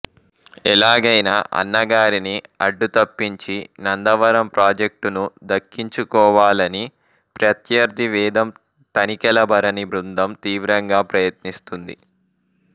ఎలాగైనా అన్నగారిని అడ్డు తప్పించి నందవరం ప్రాజెక్టును దక్కించుకోవాలని ప్రత్యర్థి వేదం తనికెళ్ల భరణి బృందం తీవ్రంగా ప్రయత్నిస్తుంది